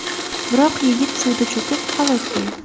Biroq yigit suvda cho‘kib, halok bo‘ldi.